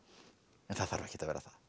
en það þarf ekkert að vera það